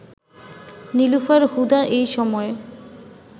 নীলুফার হুদা এই সময়